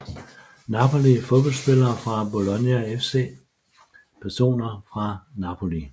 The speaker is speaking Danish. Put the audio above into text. Napoli Fodboldspillere fra Bologna FC Personer fra Napoli